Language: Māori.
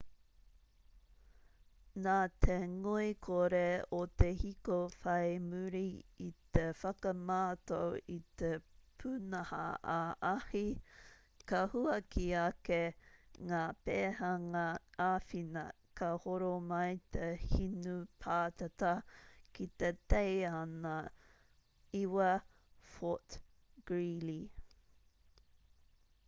nā te ngoikore o te hiko whai muri i te whakamātau i te pūnaha-ā-ahi ka huaki ake ngā pēhanga āwhina ka horo mai te hinu pātata ki te teihana 9 fort greely